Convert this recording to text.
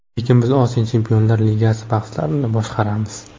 Lekin biz Osiyo chempionlar ligasi bahslarini boshqaramiz.